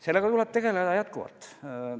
Sellega tuleb tegeleda jätkuvalt.